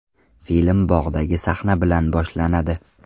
Film bog‘dagi sahna bilan boshlanadi.